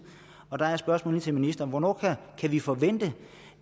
og der er spørgsmålet til ministeren hvornår kan vi forvente